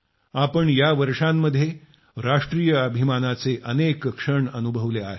आम्ही या वर्षांमध्ये राष्ट्रीय अभिमानाचे अनेक क्षण अनुभवले आहेत